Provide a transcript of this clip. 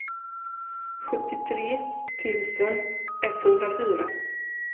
sjuttiotre tusen etthundrafyra